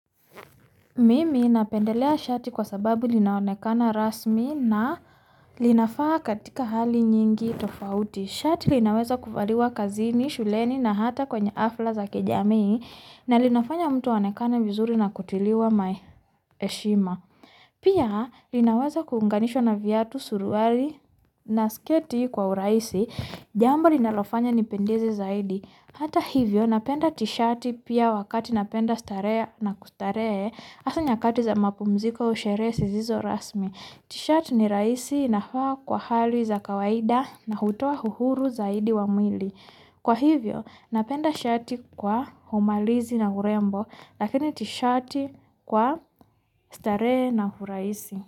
Mimi napendelea shati kwa sababu linaonekana rasmi na linafaa katika hali nyingi tofauti. Shati linaweza kuvaliwa kazini, shuleni na hata kwenye afla za kijamii. Na linafanya mtu aonekane vizuri na kutiliwa maeshima. Pia linaweza kuunganishwa na viatu suruali na sketi kwa uraisi. Jambo linalofanya nipendeze zaidi. Hata hivyo napenda tishati pia wakati napenda starehe na kustaree. Hasa nyakati za mapumziko au sheree sizizo rasmi. Tishati ni raisi navaa kwa hali za kawaida na hutoa uhuru zaidi wa mwili. Kwa hivyo napenda shati kwa humalizi na urembo. Lakini tishati kwa starehe na uraisi.